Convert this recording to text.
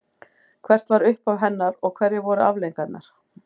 Hvert var upphaf hennar og hverjar voru afleiðingarnar?